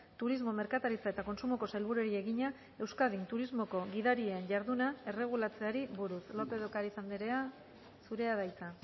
turismo merkataritza eta kontsumoko sailburuari egina euskadin turismoko gidarien jarduna erregularizatzeari buruz lópez de ocariz anderea zurea da hitza